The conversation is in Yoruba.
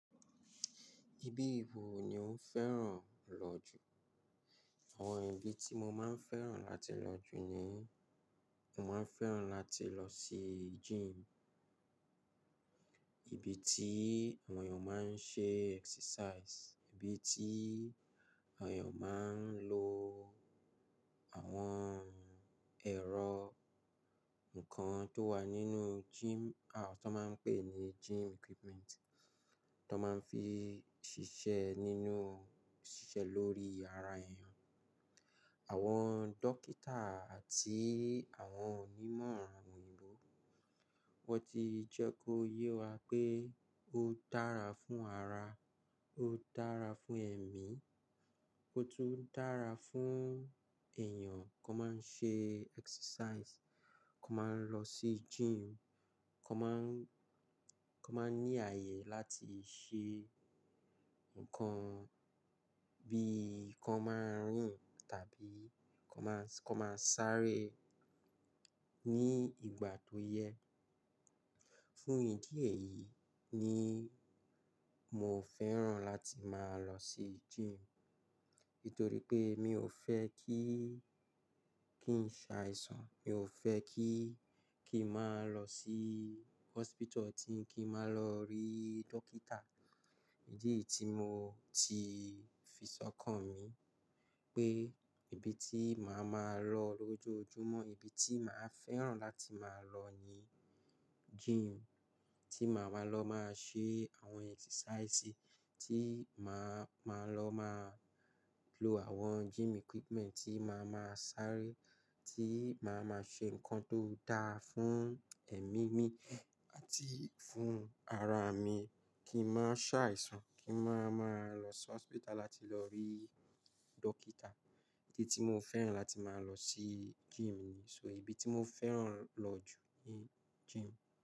Ibi wo ni ó fẹ́ràn lọ jù? Àwọn ibi tí mo máa ń fẹ́ràn láti lọ jù ni, mo máa ń fẹ́ràn láti lọ sí gym. Ibi tí àwọn èèyàn máa ń ṣe exercise, ibi tí àwọn èèyàn máa ń lo àwọn ẹ̀rọ nǹkan tó wà nínú gym, àwọn tó máa ń pè ní gym equipment, tó máa ń fi ṣiṣẹ́ nínú-- ṣiṣẹ́ lórí ara èèyàn. Àwọn dókítà àti àwọn onímọ̀ran, wọ́n ti jẹ́ kó yé wa pé ó dára fún ara, ó dára fún ẹ̀mí, ó tún dára fún èèyàn kó máa ń ṣe exercise, kó máa ń lọ sí gym, kó máa ń, kó máa ń ní ààyè láti ṣe ǹkan bí i kó máa ń rìn tàbí kó máa ń, kó máa ń sáré ní ìgbà tó yẹ. Fún ìdí èyí ni mo fẹ́ràn láti máa lọ sí gym. Nítorí pé mi ò fẹ́ kí, kí n ṣàìsàn, mi ò fẹ́ kí, kí n máa lọ sí hospital tí n kí n máa lọ rí dókítà. Ìdí tí mo ti fi sọkàn mi pé ibi tí màá máa lọ lójoojúmọ́, ibi tí màá fẹ́ràn láti máa lọ ni gym. Tí màá máa lọ máa ṣe àwọn exercise, tí màá, màá lọ máa lo àwọn gym equipment, tí màá máa sáré, tí màá máa ṣe ǹkan tó dára fún ẹ̀mí mi àti fún ara mi. Kí n má ṣàìsàn, kí n má máa lọ sí hospital láti lọ rí dókítà. Tí mo fẹ́ràn láti máa lọ sí gym ni. So ìbí tí mo fẹ́ràn lọ jù ni gym.